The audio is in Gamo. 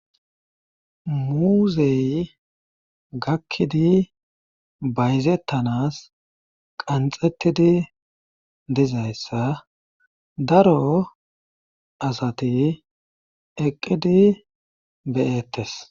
muuzey gakkidi bayzettanas qanxettidi dizayssa daro asati eqqidi beyettes